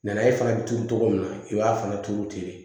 e fana bɛ turu cogo min na i b'a fana turu ten